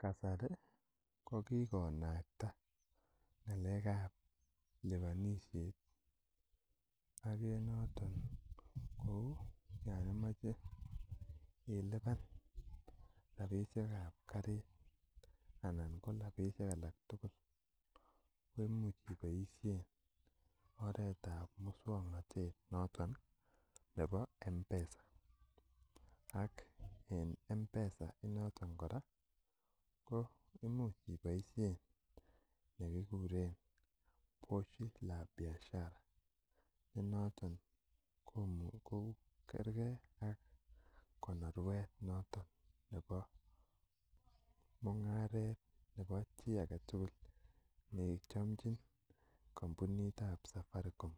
Kasari ko kikonakta ng'alek ab liponisiet ak en noton ko yon imoche ilipan rapisiek ab karit anan ko rapisiek alak tugul koimuch iboisien oretab muswongnotet noton nebo mpesa ak en M-pesa noton kora imuch iboisien nekikuren pochi la biashara nenoton ko kergee ak konorwet noton nebo mung'aret nebo chii aketugul nechomchin kampunit ab Safaricom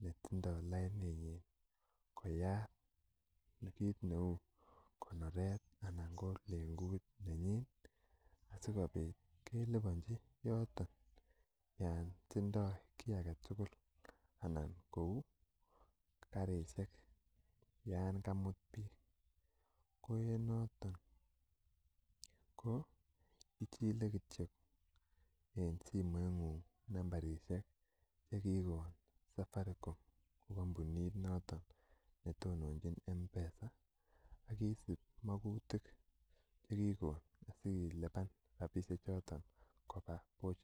netindoo lainit nyin koyat kit neu konorwet anan ko lengut nenyin asikobit keliponji yoton yon tindoo kiy aketugul ana kou karisiek yan kamut biik ko en noton ko ichile kityo en simoit ng'ung nambarisiek chekikon Safaricom ne kampunit noton netononjin Mpesa akisib mokutik chekikon asilipan rapisiek choton koba pochi la biashara